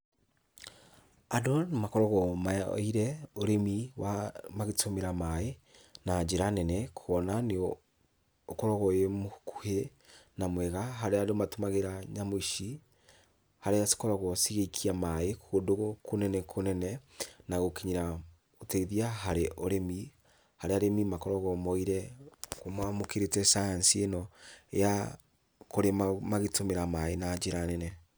Andũ nĩmakoragwo moyeire ũrĩmi wa magĩtũmĩra maĩ na njĩra nene, kuona nĩũkoragwo wĩ mũkuhĩ na mwega, harĩa andũ matũmagĩra nyamũ ici, harĩa cikoragwo cigĩikia maĩ ũndũ kũnene kũnene na gũkinyĩra ũteithia harĩ ũrĩmi, harĩa arĩmi makoragwo moyeire, mamũkĩrĩte science ĩno ya kũrĩma magĩtũmĩra maĩ na njĩra nene.